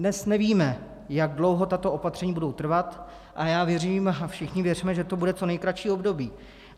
Dnes nevíme, jak dlouho tato opatření budou trvat, a já věřím a všichni věříme, že to bude co nejkratší období.